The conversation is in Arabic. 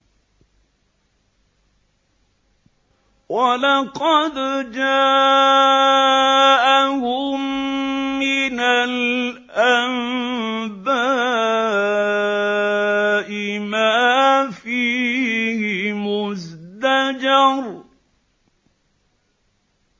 وَلَقَدْ جَاءَهُم مِّنَ الْأَنبَاءِ مَا فِيهِ مُزْدَجَرٌ